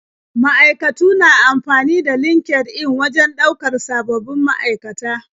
Ma'aikatu na amfani da LinkedIn wajen ɗaukar sababbin ma'aikata.